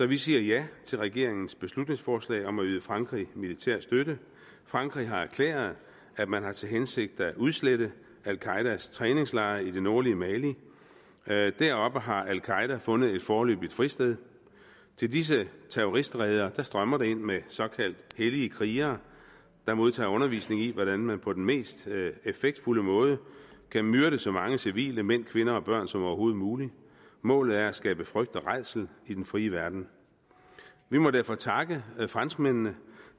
vi siger ja til regeringens beslutningsforslag om at yde frankrig militær støtte frankrig har erklæret at man har til hensigt at udslette al qaedas træningslejre i det nordlige mali mali deroppe har al qaeda fundet et foreløbigt fristed til disse terroristreder strømmer det ind med såkaldt hellige krigere der modtager undervisning i hvordan man på den mest effektfulde måde kan myrde så mange civile mænd kvinder og børn som overhovedet muligt målet er at skabe frygt og rædsel i den frie verden vi må derfor takke franskmændene